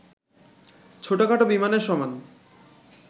ছোটখাটো বিমানের সমান